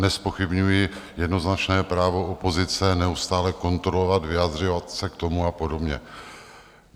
Nezpochybňuji jednoznačné právo opozice neustále kontrolovat, vyjadřovat se k tomu a podobně.